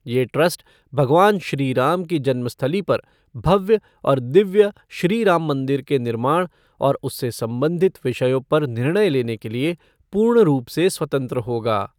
ये ट्रस्ट भगवान श्रीराम की जन्मस्थली पर भव्य और दिव्य श्री राममंदिर के निर्माण और उससे संबंधित विषयों पर निर्णय लेने के लिए पूर्ण रूप से स्वतंत्र होगा।